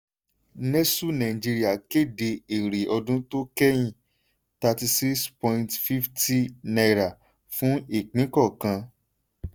nestle nigeria kéde èrè ọdún to kẹ́yìn: thirty six point fifty naira fún ipín kọọkan.